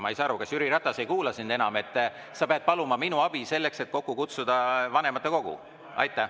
Ma ei saa aru, kas Jüri Ratas ei kuula sind enam, et sa pead paluma minu abi selleks, et kokku kutsuda vanematekogu.